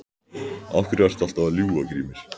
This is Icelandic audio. Af hverju ertu alltaf að ljúga Grímur?